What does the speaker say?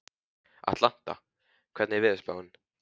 Atlanta, hvernig er veðurspáin?